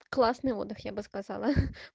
классный отдых я бы сказала